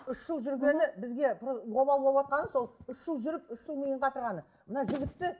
үш жыл жүргені бізге обал болватқаны сол үш жыл жүріп үш жыл миын қатырғаны мына жігітті